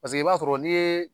Paseke i b'a sɔrɔ n'i yee